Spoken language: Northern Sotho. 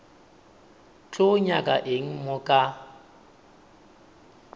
tlo nyaka eng mo ka